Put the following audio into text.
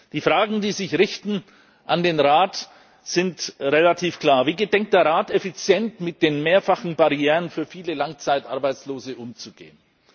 Die Fragen, die sich an den Rat richten, sind relativ klar Wie gedenkt der Rat, effizient mit den mehrfachen Barrieren für viele Langzeitarbeitslose umzugehen?